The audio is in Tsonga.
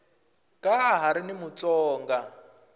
ka ha ri na mutsonga